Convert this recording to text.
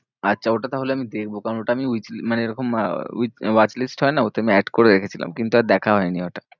আচ্ছা, ওটা তাহলে আমি দেখবো কারণ ওটা আমি মানে মানে এরকম আহ watch list হয় না ওতে আমি add করে রেখেছিলাম, কিন্তু আর দেখা হয়নি ওটা।